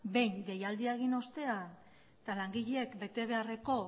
behin deialdia egin ostean eta langileek betebeharreko